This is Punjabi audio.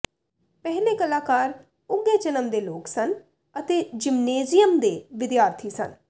ਪਹਿਲੇ ਕਲਾਕਾਰ ਉੱਘੇ ਜਨਮ ਦੇ ਲੋਕ ਸਨ ਅਤੇ ਜਿਮਨੇਜ਼ੀਅਮ ਦੇ ਵਿਦਿਆਰਥੀ ਸਨ